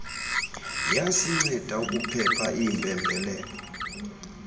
yasinceda ukuphepha iimpembelelo